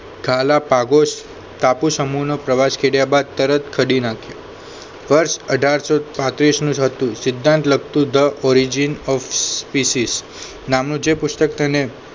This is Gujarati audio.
ખાલા પાગોશ ટાપુ સમૂહનો પ્રવાસ કર્યા બાદ તરત કાઢી નાખ્યો વર્ષ અઢારસો પાંત્રીશ નું જ હતું સિદ્ધાંત લગતું the origin of species નામનો જે પુસ્તક તેને